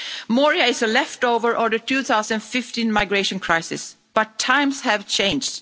Moria is a leftover of the 2015 migration crisis, but times have changed.